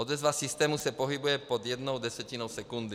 Odezva systému se pohybuje pod jednou desetinou sekundy.